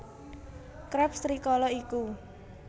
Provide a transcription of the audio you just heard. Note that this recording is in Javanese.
Krabs rikala iku